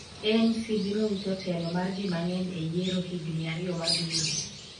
ANC biro wito telo mar ji mang'eny e yiero higni ariyo mabiro